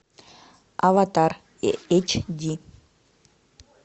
аватар эйч ди